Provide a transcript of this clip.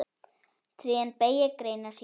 Trén beygja greinar sínar.